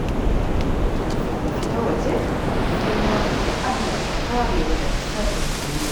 Kafin na fita waje, sai na roƙi Allah ya kare ni daga sharrin duniya.